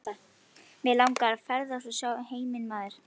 Mig langar að ferðast og sjá heiminn maður.